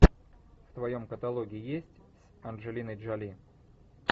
в твоем каталоге есть с анджелиной джоли